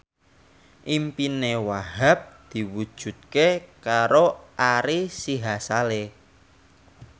impine Wahhab diwujudke karo Ari Sihasale